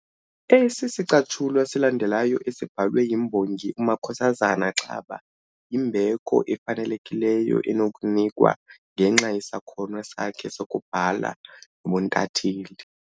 Esi sicatshulwa silandelayo esibhalwe yimbongi uMakhosazana Xaba yimbeko efanelekileyo enokunikwa ngenxa yesakhono sakhe sokubhala nobuntatheli